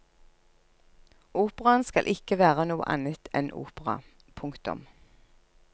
Operaen skal ikke være noe annet en opera. punktum